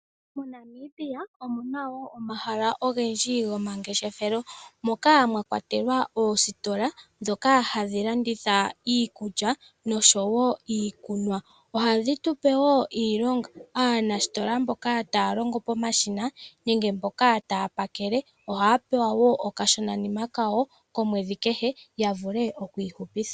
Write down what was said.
Mo Namibia omuna woo omahala ogendji gomangeshefelo moka mwa kwatelwa oositola ndhoka hadhi landitha iikulya noshowo iikunwa. Ohadhi tupe woo iilonga, aanasitola mboka taya longo pomashina nenge mboka taya pakele, ohaya pewa woo okashonanima kawo komwedhi kehe ya vule okwi ihupitha.